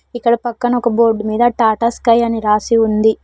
ఇక్కడ పక్కన ఒక బోర్డు మీద టాటా స్కై అని రాసి ఉంది.